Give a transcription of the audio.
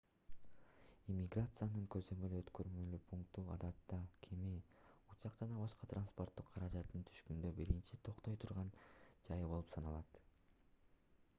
иммиграциянын көзөмөл-өткөрмө пункту адатта кеме учак же башка транспорттук каражаттан түшкөндө биринчи токтой турган жай болуп саналат